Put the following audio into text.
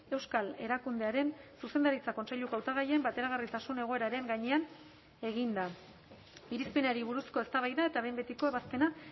euskal erakundearen zuzendaritza kontseiluko hautagaien bateragarritasun egoeraren gainean eginda irizpenari buruzko eztabaida eta behin betiko ebazpena